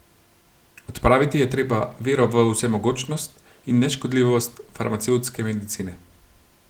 Odpraviti je treba vero v vsemogočnost in neškodljivost farmacevtske medicine.